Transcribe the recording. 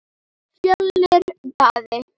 Fjölnir Daði.